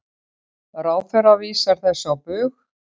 Ráðherra vísar þessu á bug.